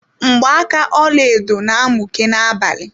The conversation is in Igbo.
Mgbaka ọlaedo na-amuke na-abalị.